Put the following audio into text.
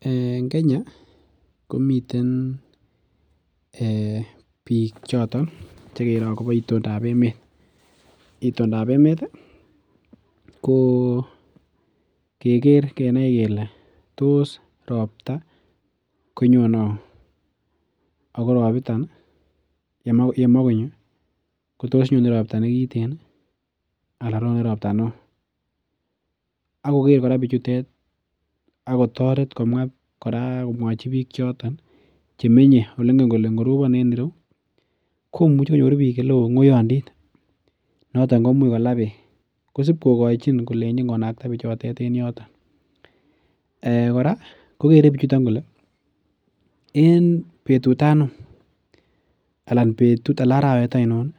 En Kenya komiten bik choton chekere Ako bo itondab emeet. Itondab emeet ih ko keger kenai kele tos robta konyone auu. Ako robibton yemakonyo kotos nyone robta nekiten ih anan nyone robta neoo. Akoker kora bichutet kole akotoret komwa komwachi bik choton kole ih chemenye chengen kole ingorobon en ireuukonyoru bik ng'oyanditnoton komuch kola beek kosib kokachin konakta bichutet en yoto. Eh kora kokere bichuton kole en betut anum anan arawet ainon ih